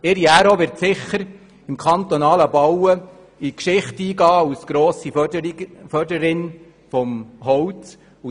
Ihre Ära wird sicher im kantonalen Bauen in die Geschichte eingehen mit ihr als grosser Förderin des Holzes.